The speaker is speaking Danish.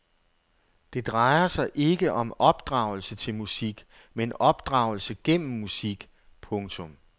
Det drejer sig ikke om opdragelse til musik men opdragelse gennem musik. punktum